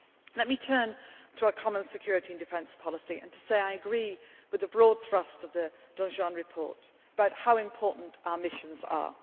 future. Let me turn to our common security and defence policy and say that I agree with the broad thrust of the Danjean report about how important our missions